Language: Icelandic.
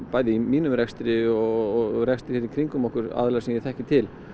bæði í mínum rekstri og í rekstri í kringum okkur sem ég þekki til